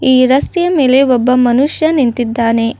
ಈ ರಸ್ತೆಯ ಮೇಲೆ ಒಬ್ಬ ಮನುಷ್ಯ ನಿಂತಿದ್ದಾನೆ.